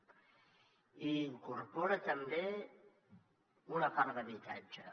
i incorpora també una part d’habitatge